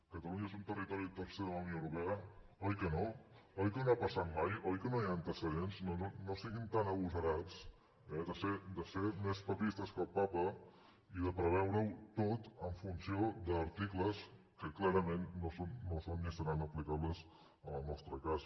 catalunya és un territori tercer de la unió europea oi que no oi que no ha passat mai oi que no hi ha antecedents doncs no siguin tan agosarats eh de ser més papistes que el papa i de preveure ho tot en funció d’articles que clarament no són ni seran aplicables en el nostre cas